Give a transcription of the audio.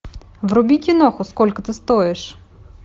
вруби киноху сколько ты стоишь